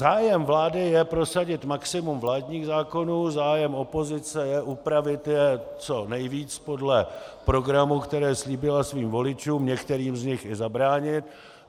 Zájem vlády je prosadit maximum vládních zákonů, zájem opozice je upravit je co nejvíc podle programu, který slíbila svým voličům, některým z nich i zabránit.